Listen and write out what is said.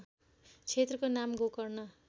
क्षेत्रको नाम गोकर्ण